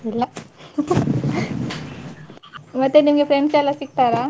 ಇಲ್ಲ ಮತ್ತೆ ನಿಮ್ಗೆ friends ಎಲ್ಲ ಸಿಕ್ತಾರಾ?